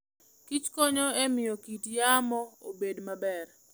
Kich konyo e miyo kit yamo obed maber.